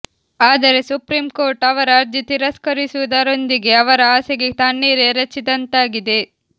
ಆದರೆ ಸುಪ್ರೀಂಕೋರ್ಟ್ ಅವರ ಅರ್ಜಿ ತಿರಸ್ಕರಿಸುವುದರೊಂದಿಗೆ ಅವರ ಆಸೆಗೆ ತಣ್ಣೀರು ಎರಚಿದಂತಾಗಿದೆ